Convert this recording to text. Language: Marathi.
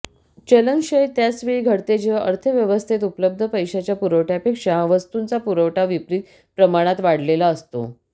चलनक्षय त्याच वेळी घडते जेव्हा अर्थव्यवस्थेत उपलब्ध पैशाच्या पुरवठ्यापेक्षा वस्तूंचा पुरवठा विपरीत प्रमाणात वाढलेला असतो